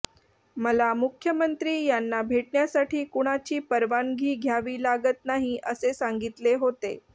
मला मुख्यमंत्री यांना भेटण्यासाठी कुणाची परवानगी घ्यावी लागत नाही असे सांगितले होते